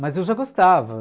Mas eu já gostava.